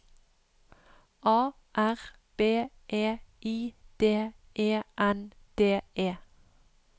A R B E I D E N D E